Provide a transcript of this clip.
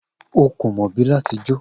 O ko mo bi lati jo.